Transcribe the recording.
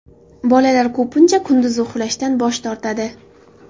Bolalar ko‘pincha kunduzi uxlashdan bosh tortadi.